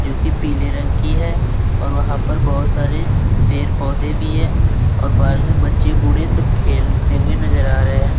जो कि पीले रंग की है और वहां पर बहुत सारे पेड़ पौधे भी हैं और पार्क में बच्चे बूढ़े सब खेलते हुए नजर आ रहे हैं।